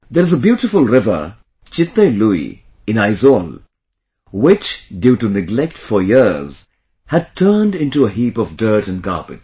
There is a beautiful river 'Chitte Lui' in Aizwal, which due to neglect for years, had turned into a heap of dirt and garbage